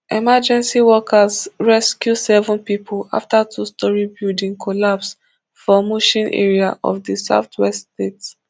emergency workers rescue seven pipo afta two storey building collapse for mushin area of di southwest state